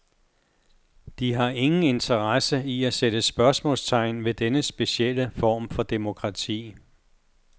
De har ingen interesse i at sætte spørgsmålstegn ved denne specielle form for demokrati.